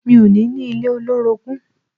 Mi ò ní ní ilé olórogún.